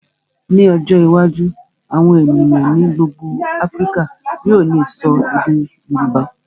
Ní ọjọ́ iwájú, àwọn ènìyàn ní gbogbo Áfíríkà yóò lè ṣọ èdè Yorùbá.